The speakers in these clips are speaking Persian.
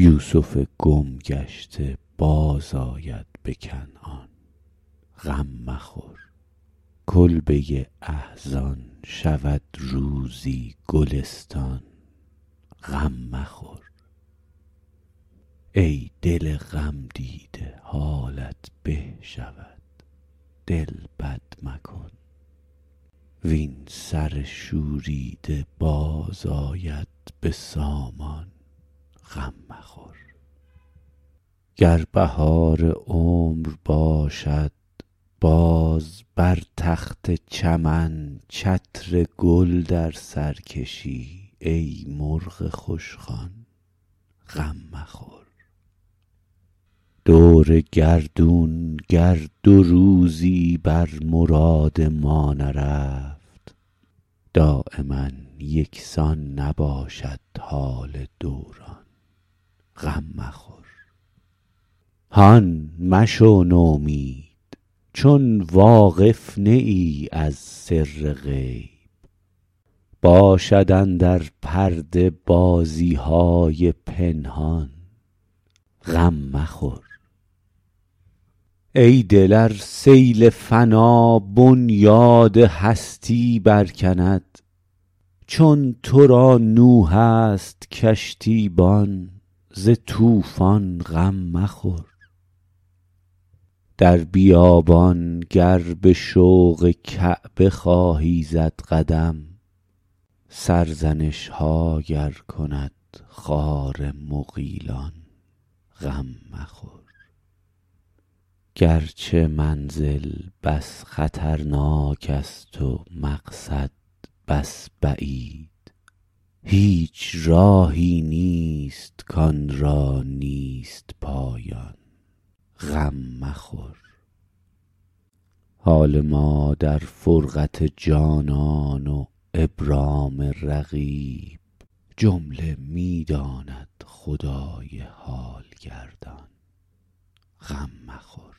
یوسف گم گشته بازآید به کنعان غم مخور کلبه احزان شود روزی گلستان غم مخور ای دل غمدیده حالت به شود دل بد مکن وین سر شوریده باز آید به سامان غم مخور گر بهار عمر باشد باز بر تخت چمن چتر گل در سر کشی ای مرغ خوشخوان غم مخور دور گردون گر دو روزی بر مراد ما نرفت دایما یکسان نباشد حال دوران غم مخور هان مشو نومید چون واقف نه ای از سر غیب باشد اندر پرده بازی های پنهان غم مخور ای دل ار سیل فنا بنیاد هستی برکند چون تو را نوح است کشتیبان ز طوفان غم مخور در بیابان گر به شوق کعبه خواهی زد قدم سرزنش ها گر کند خار مغیلان غم مخور گرچه منزل بس خطرناک است و مقصد بس بعید هیچ راهی نیست کآن را نیست پایان غم مخور حال ما در فرقت جانان و ابرام رقیب جمله می داند خدای حال گردان غم مخور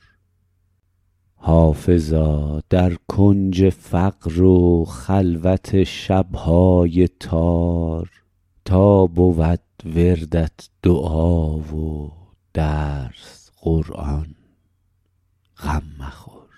حافظا در کنج فقر و خلوت شب های تار تا بود وردت دعا و درس قرآن غم مخور